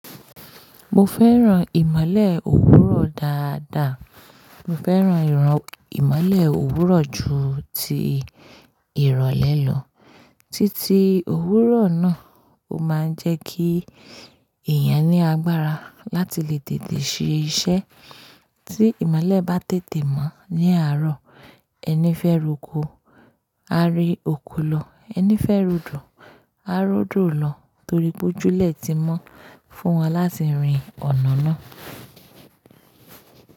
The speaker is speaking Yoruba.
Mo fẹ́ran ìmọ́lẹ̀ òwúrọ̀ dáadáa. Mo fẹ́ran ìmọ́lẹ̀ òwúrọ̀ ju ti ìrọ̀lẹ́ lọ. Títí òwúrọ̀ náà ó máa ń jẹ́ kí èèyàn ní agbára láti lè tètè ṣe iṣẹ́ tí ìmọ́lẹ̀ bá tètè mọ́ ní àárọ̀. Ẹni fẹ́ roko, á ri òkò lo; ẹni fẹ́ ròdò, á ròdò lo torí gbójúlẹ̀ ti mọ́ fún wọn láti rin ọ̀nà náà.